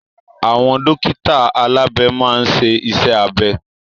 Àwọn dókítà alabe maa n ṣe iṣẹ́ abẹ.